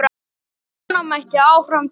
Svona mætti áfram telja.